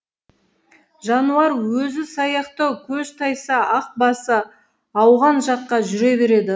жануар өзі саяқтау көз тайса ақ басы ауған жаққа жүре береді